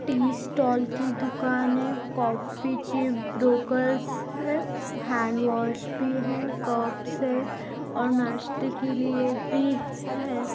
T stall की दुकान है कॉफी ची ब्रोकरच है हैंडवाश भी है कप्स है और नाश्ते के लिये भी है।